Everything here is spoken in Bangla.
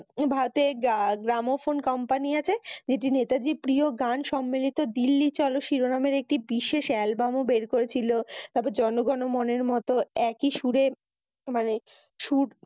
ভারতের গ্রা~গ্রাম ফোন কোম্পানি আছে। যেটি নেতাজীর প্রিয় গান সম্মেলিত দিল্লি চল শিরোনামের একটি বিশেষ এ্যালবাম ও বের করছিল। তবে জনগণ ও মনের মত একি সুরে মানি সুর